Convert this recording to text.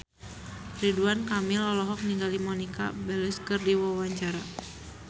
Ridwan Kamil olohok ningali Monica Belluci keur diwawancara